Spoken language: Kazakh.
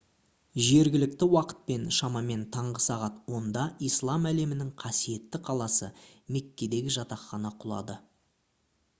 жергілікті уақытпен шамамен таңғы сағат 10-да ислам әлемінің қасиетті қаласы меккедегі жатақхана құлады